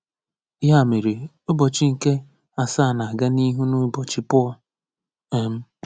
Ya mere, ụbọchị nke asaa na-aga n’ihu n’ụbọchị Pọl. um